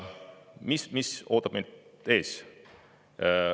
Mis ootab meid ees?